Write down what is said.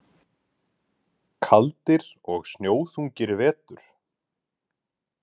Kaldir og snjóþungir vetur.